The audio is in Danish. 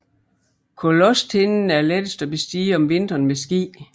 Kolåstinden er lettest at bestige om vinteren med ski